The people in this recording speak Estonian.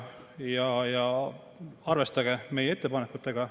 Arvestage meie ettepanekutega.